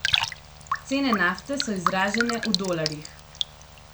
Cene nafte so izražene v dolarjih.